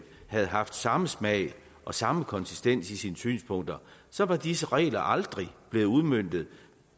havde haft samme smag og samme konsistens i sine synspunkter så var disse regler aldrig blevet udmøntet